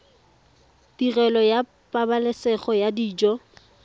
tirelo ya pabalesego ya dijo